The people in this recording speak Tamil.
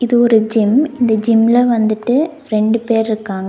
ஒரு ஜிம் இந்த ஜிம்ல வந்துட்டு ரெண்டு பேர்ருக்காங்க.